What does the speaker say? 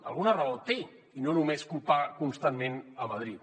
alguna raó té i no només culpar constantment madrid